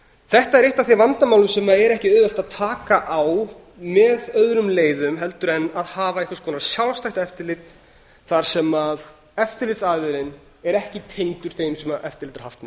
þetta er eitt af þeim vandamálum sem er ekki auðvelt að taka á með öðrum leiðum heldur en hafa einhvers konar sjálfstætt eftirlit þar sem eftirlitsaðilinn er ekki tengdur þeim sem eftirlit er haft með